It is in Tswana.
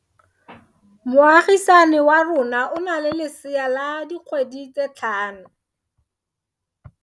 Moagisane wa rona o na le lesea la dikgwedi tse tlhano.